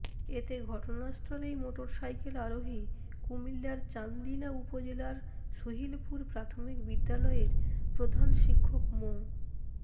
এতে ঘটনাস্থলেই মোটরসাইকেল আরোহী কুমিল্লার চান্দিনা উপজেলার সুহিলপুর প্রাথমিক বিদ্যালয়ের প্রধান শিক্ষক মো